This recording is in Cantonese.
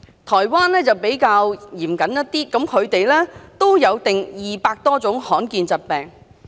台灣比較嚴謹一點，它們也定出200多種罕見疾病。